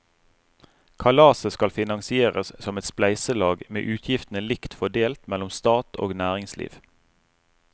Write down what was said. Kalaset skal finansieres som et spleiselag med utgiftene likt fordelt mellom stat og næringsliv.